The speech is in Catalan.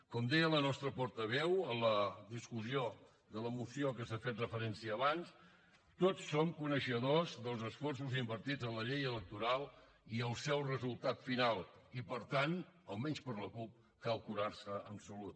com deia la nostra portaveu en la discussió de la moció que s’ha fet referència abans tots som coneixedors dels esforços invertits en la llei electoral i el seu resultat final i per tant almenys per la cup cal curar se en salut